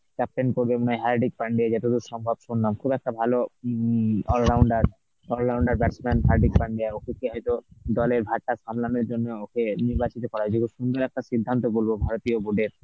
captain তো মনে হয় Hardik Pandey যতদূর সম্ভব শুনলাম. খুব একটা ভালো um allrounder, all rounder batsman Hardik Pandya ওকে কে হয়তো দলের ভারটা সামলানোর জন্য ওকে নির্বাচিত করা হয়েছে. সুন্দর একটা সিদ্ধান্ত বলবো ভারতীয় board এর